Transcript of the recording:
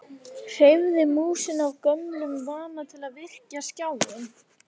Hreyfði músina af gömlum vana til að virkja skjáinn.